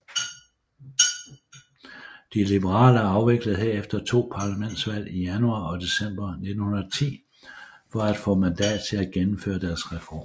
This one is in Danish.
De liberale afviklede herefter to parlamentsvalg i januar og december 1910 for at få mandat til at gennemføre deres reformer